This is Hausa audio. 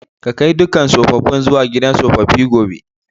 Ka kai dukan sofofin zuwa gidan sofofi gobe!